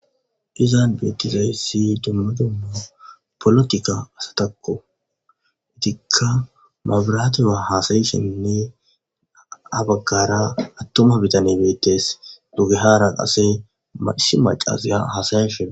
izan beettizayssi dumma dumma polotika asatakko itikka maabiraate waa hasayeshenne abaggara attoma bitane beettes dugehara ase masi macaziya hasayeshena